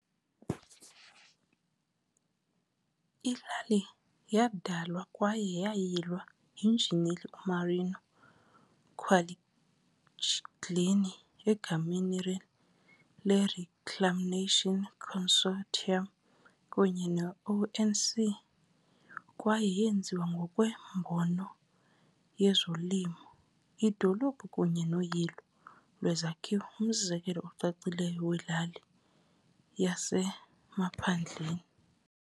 Ilali yadalwa kwaye yayilwa yinjineli uMario Quaglini egameni leReclamation Consortium kunye ne-ONC kwaye yenziwe ngokwembono yezolimo, idolophu kunye noyilo lwezakhiwo ngumzekelo ocacileyo welali "yasemaphandleni".